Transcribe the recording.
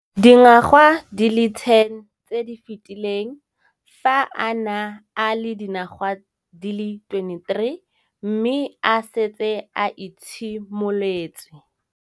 Dingwaga di le 10 tse di fetileng, fa a ne a le dingwaga di le 23 mme a setse a itshimoletse